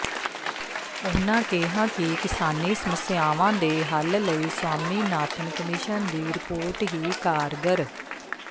ਉਨ੍ਹਾਂ ਕਿਹਾ ਕਿ ਕਿਸਾਨੀ ਸਮੱਸਿਆਵਾਂ ਦੇ ਹੱਲ ਲਈ ਸਵਾਮੀਨਾਥਨ ਕਮਿਸ਼ਨ ਦੀ ਰਿਪੋਰਟ ਹੀ ਕਾਰਗਰ